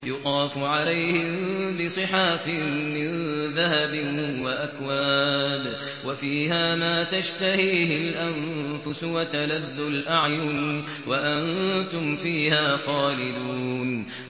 يُطَافُ عَلَيْهِم بِصِحَافٍ مِّن ذَهَبٍ وَأَكْوَابٍ ۖ وَفِيهَا مَا تَشْتَهِيهِ الْأَنفُسُ وَتَلَذُّ الْأَعْيُنُ ۖ وَأَنتُمْ فِيهَا خَالِدُونَ